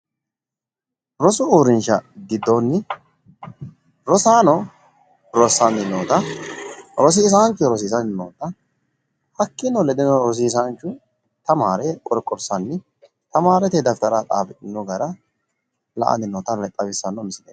Rosu uurrinsha giddoonni rosaano rossanni noota rosiisaanchu rosiisanni noota hakkiino ledeno rosaanchu tamaare qorqorsanni tamaarete dafitara xafidhino gara la"anni noota xawissanno misileeti.